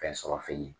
Fɛn sɔrɔ f'i ye